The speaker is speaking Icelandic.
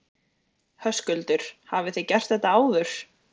Höskuldur: Hafið þið gert þetta áður?